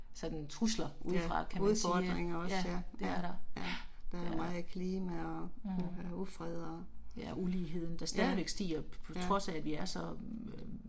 Ja, udfordringer også ja, ja. ja, der er meget klima og der er ufred og. Ja, ja